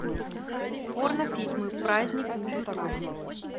порнофильмы праздник ютуб